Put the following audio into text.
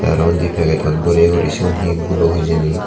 te araw undi pegedot boreye guri sigun hee gulo obo hijeni.